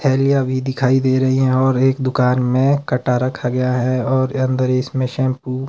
थैलियां भी दिखाई दे रही है और एक दुकान में कट्टा रखा गया है और अंदर इसमें शैंपू --